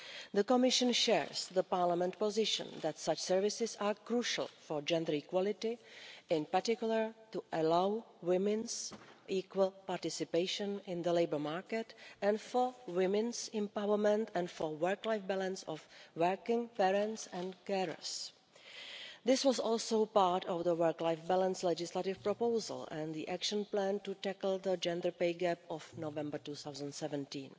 The Commission shares the Parliament's position that such services are crucial for gender equality, in particular to allow women's equal participation in the labour market and for women's empowerment and the work life balance of working parents and carers. This was also part of the work life balance legislative proposal and the Action Plan to tackle the gender pay gap of November 2017.